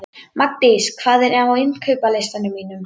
Magndís, hvað er á innkaupalistanum mínum?